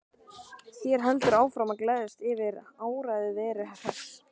Þær héldu áfram að gleðjast yfir áræði Veru Hress.